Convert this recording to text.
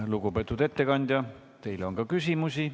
Lugupeetud ettekandja, teile on ka küsimusi.